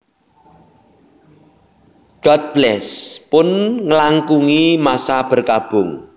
God Bless pun ngelangkungi masa berkabung